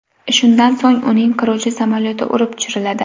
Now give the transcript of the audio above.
Shundan so‘ng uning qiruvchi samolyoti urib tushiriladi.